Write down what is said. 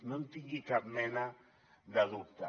no en tingui cap mena de dubte